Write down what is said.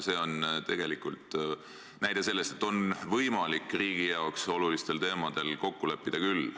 See on tegelikult näide selle kohta, et on võimalik riigile olulistel teemadel kokku leppida küll.